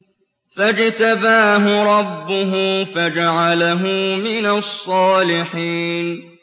فَاجْتَبَاهُ رَبُّهُ فَجَعَلَهُ مِنَ الصَّالِحِينَ